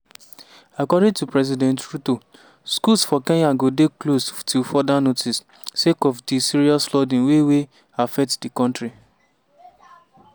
according to president ruto schools for kenya go dey closed till further notice sake of di serious flooding wey wey affect di kontri.